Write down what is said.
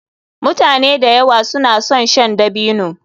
Mutane da yawa suna son shan dabino.